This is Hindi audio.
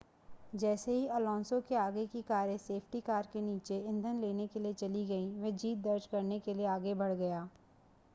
जैसे ही अलोंसो के आगे की कारें सेफ्टी कार के नीचे ईंधन लेने के लिए चली गईं वह जीत दर्ज करने के लिए आगे बढ़ गया